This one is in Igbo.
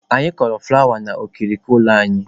Anyị kọrọ fụlawa okirikiri ụlọ anyị.